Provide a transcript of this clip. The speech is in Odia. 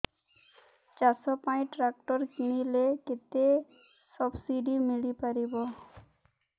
ଚାଷ ପାଇଁ ଟ୍ରାକ୍ଟର କିଣିଲେ କେତେ ସବ୍ସିଡି ମିଳିପାରିବ